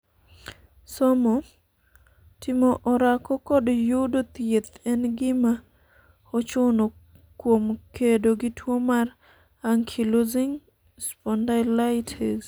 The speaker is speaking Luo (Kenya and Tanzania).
somo, timo orako kod yudo thieth en gima ochuno kuom kedo gi tuo mar Ankylosing spondylitis